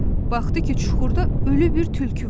Baxdı ki, çuxurda ölü bir tülkü var.